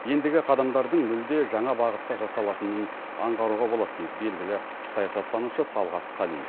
ендігі қадамдардың мүлде жаңа бағытта жасалатынын аңғаруға болады дейді белгілі саясаттанушы талғат қалиев